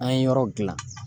An ye yɔrɔ gilan